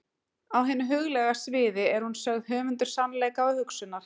Á hinu huglæga sviði er hún sögð höfundur sannleika og hugsunar.